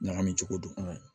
Ɲagami cogo don